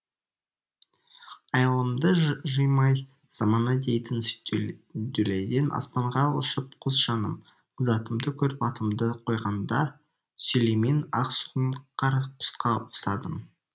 айылымды жыймай замана дейтін дүлейден аспанға ұшып құс жаным затымды көріп атымды қойғанда сүлеймен ақсұңқар құсқа ұқсадым